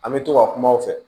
An bɛ to ka kuma u fɛ